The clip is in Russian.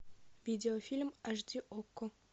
видеофильм аш ди окко